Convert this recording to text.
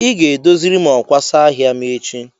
Ị ga-edoziri m ọkwasa ahịa m echi?